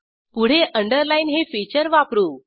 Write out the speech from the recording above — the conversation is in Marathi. पुढे अंडरलाईन हे फीचर वापरू